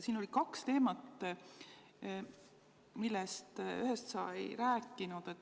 Siin oli kaks teemat, neist ühest sa ei rääkinud.